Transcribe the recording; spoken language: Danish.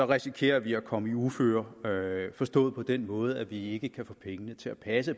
risikerer vi at komme i uføre forstået på den måde at vi ikke kan få pengene til at passe